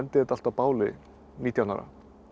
þetta allt á báli nítján ára